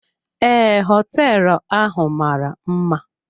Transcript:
Ee, hoteelu ahụ mara mma.